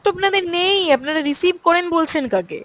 তো আপনাদের নেই, আপনারা receive করেন বলছেন কাকে?